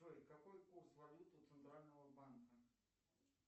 джой какой курс валют у центрального банка